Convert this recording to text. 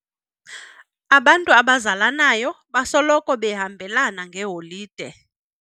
Abantu abazalanayo basoloko behambelana ngeeholide.